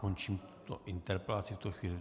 Končím tuto interpelaci v tuto chvíli.